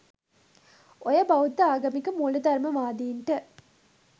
ඔය බෞද්ධ ආගමික මූලධර්මවාදීන්ට